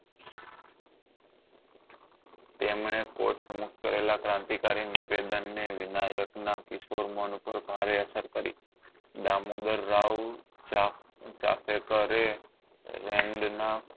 તેમને કોટ સમુક્ત કરેલા ક્રાંતિકરી નિવેદન ને વિનાયક ના કિશોર મન ઉપર ભારે અસર કરી દામોદર રાઓ ચાપ ચાપલેકારે